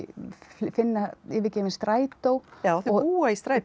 finna yfirgefinn strætó já þau búa í strætó